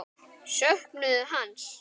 Söknuðu hans.